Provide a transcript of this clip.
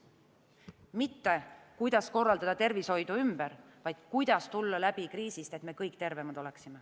Mitte kuidas korraldada tervishoidu ümber, vaid kuidas tulla läbi kriisist, et me kõik tervemad oleksime.